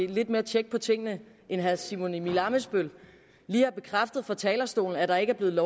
lidt mere tjek på tingene end herre simon emil ammitzbøll lige har bekræftet fra talerstolen at der ikke er blevet